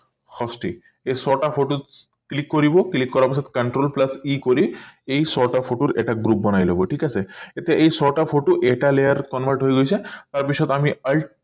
সস্তি এই ছটা photo click কৰিব click কৰাৰ পাছত control plus e কৰি এই ছটা photo এটা group বনাই লব ঠিক আছে এতিয়া এই ছটা photo এটা layer convert হৈ গৈছে তাৰ পিছত আমি